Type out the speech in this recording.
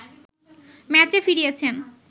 ম্যাচে ফিরিয়েছেন